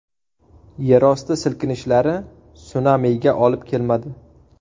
Yerosti silkinishlari sunamiga olib kelmadi.